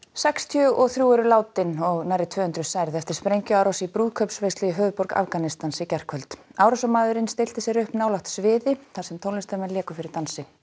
sextíu og þrjú eru látin og nærri tvö hundruð særð eftir sprengjuárás í brúðkaupsveislu í höfuðborg Afganistans í gærkvöld árásarmaðurinn stillti sér upp nálægt sviði þar sem tónlistarmenn léku fyrir dansi